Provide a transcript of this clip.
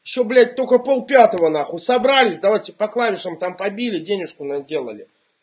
что блять только полпятого нахуй собрались давайте по клавишам там побили денежку наделали